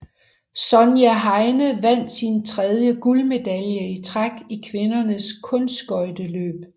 Sonja Henie vandt sin tredje guldmedalje i træk i kvindernes kunstskøjteløb